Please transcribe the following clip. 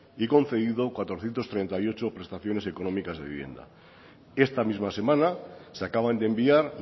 y concedido cuatrocientos treinta y ocho prestaciones económicas de vivienda esta misma semana se acaban de enviar